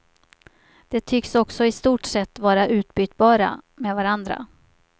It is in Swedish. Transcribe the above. De tycks också i stort sett vara utbytbara med varandra.